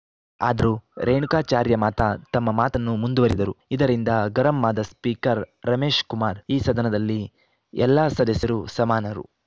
ಆದರೂ ರೇಣುಕಾಚಾರ್ಯ ಮಾತ್ರ ತಮ್ಮ ಮಾತನ್ನು ಮುಂದುವರಿದರು ಇದರಿಂದ ಗರಂ ಆದ ಸ್ಪೀಕರ್‌ ರಮೇಶ್ ಕುಮಾರ್‌ ಈ ಸದನದಲ್ಲಿ ಎಲ್ಲ ಸದಸ್ಯರು ಸಮಾನರು